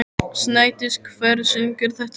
Snædís, hver syngur þetta lag?